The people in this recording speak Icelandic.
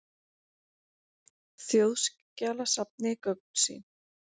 Þjóðskjalasafni gögn sín.